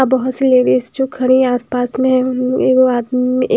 --बहुत सी लेडीज़ जो खड़ी हैं आसपास में --